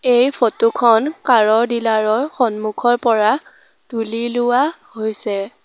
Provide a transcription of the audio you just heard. এই ফটো খন কাৰ ৰ ডীলাৰ ৰ সন্মুখৰ পৰা তোলি লোৱা হৈছে।